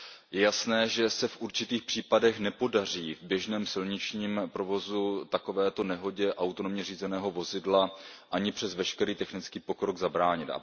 Je jasné, že se v určitých případech nepodaří v běžném silničním provozu takovéto nehodě autonomně řízeného vozidla ani přes veškerý technický pokrok zabránit.